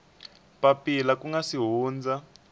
papila ku nga si hundza